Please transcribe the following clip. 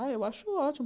Ah, eu acho ótimo.